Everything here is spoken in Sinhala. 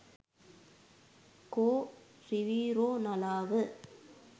කෝ රිවිරෝ නලාව?